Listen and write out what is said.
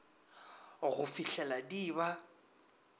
go fihlela di e ba